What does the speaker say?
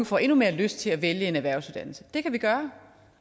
får endnu mere lyst til at vælge en erhvervsuddannelse det kan vi gøre